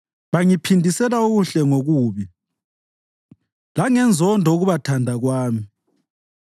Bangiphindisela okuhle ngokubi, langenzondo ukubathanda kwami.